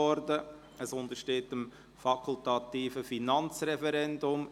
Es untersteht dem fakultativen Finanzreferendum.